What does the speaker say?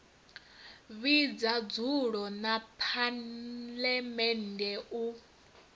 vhidza dzulo ḽa phaḽamennde u